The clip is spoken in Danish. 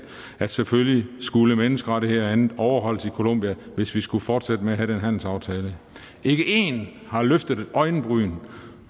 at selvfølgelig skulle menneskerettigheder og andet overholdes i colombia hvis vi skulle fortsætte med at have den handelsaftale ikke én har løftet et øjenbryn